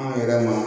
An yɛrɛ ma